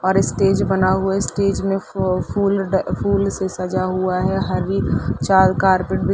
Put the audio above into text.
और एक स्टेज बना हुआ है स्टेज में फ फूल फूल से सजा हुआ है हरी चार कारपेट बी --